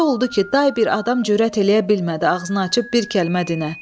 Elə oldu ki, day bir adam cürət eləyə bilmədi ağzını açıb bir kəlmə dinə.